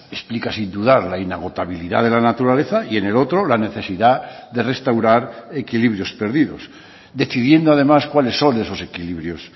explica sin dudar la inagotabilidad de la naturaleza y en el otro la necesidad de restaurar equilibrios perdidos decidiendo además cuáles son esos equilibrios